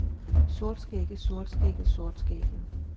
sortskægget sortskægget sortskægget